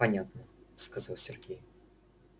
понятно сказал сергей